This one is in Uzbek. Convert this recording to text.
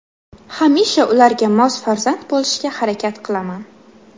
Hamisha ularga mos farzand bo‘lishga harakat qilaman.